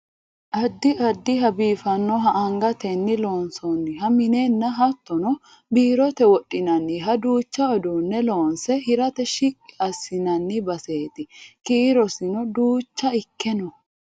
addi addiha biifannoha angatenni loonsoonniha minenna hattono biirote wodhinanniha duucha uduunne loonse hirate shiqqi assinoonni baseeti kiirosino duucha ikke no